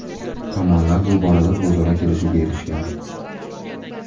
Tomonlar bu borada o‘zaro kelishuvga erishishgan.